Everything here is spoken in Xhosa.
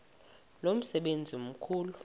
lo msebenzi mkhulu